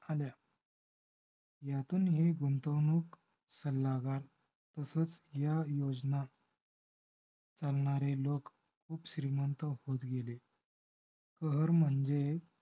आल्या. यातून ही गुंतवणूक सल्लागार तसच ह्या योजना करणारे लोक श्रीमंत होत गेले. प्रहार म्हणजे